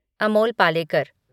Amol Palekar